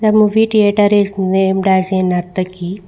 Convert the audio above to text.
The movie theatre is named as a nartaki.